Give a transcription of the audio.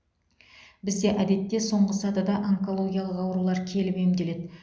бізде әдетте соңғы сатыда онкологиялық аурулар келіп емделеді